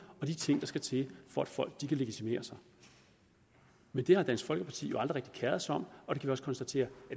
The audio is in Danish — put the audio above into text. og de ting der skal til for at folk kan legitimere sig men det har dansk folkeparti jo aldrig rigtig keret sig om og vi kan også konstatere